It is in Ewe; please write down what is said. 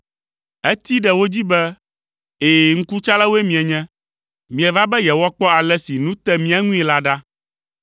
Etee ɖe wo dzi be, “Ɛ̃, ŋkutsalawoe mienye. Mieva be yewoakpɔ ale si nu te mía ŋui la ɖa.”